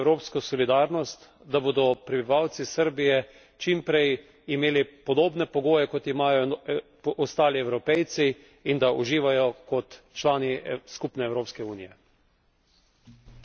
Srbija rabi evropsko solidarnost, da bodo prebivalci Srbije čim prej imeli podobne pogoje, kot jih imajo ostali Evropejci, in da uživajo kot člani skupne Evropske unije.